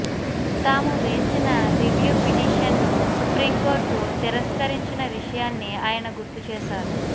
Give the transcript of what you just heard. తాము వేసిన రివ్యూ పిటిషన్ను సుప్రీంకోర్టు తిరస్కరించిన విషయాన్ని ఆయన గుర్తు చేశారు